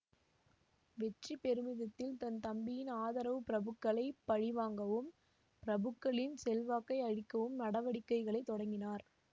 வெற்றி பெருமிதத்தில் தன் தம்பியின் ஆதரவு பிரபுக்களைப் பழிவாங்கவும் பிரபுக்களின் செல்வாக்கை அழிக்கவும் நடவடிக்கைகளைத் தொடங்கினார்